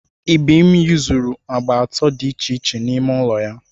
Ibim yuzuru agba atọ dị iche iche n'ime ụlọ ya.